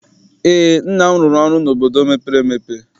Eé, nna m rụrụ ụlọ n'obodo mepere emepe.